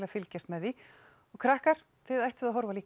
fylgjast með því og krakkar þið ættuð að horfa líka